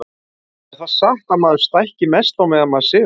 er það satt að maður stækki mest á meðan maður sefur